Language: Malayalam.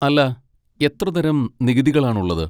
അല്ലാ, എത്രതരം നികുതികളാണുള്ളത്?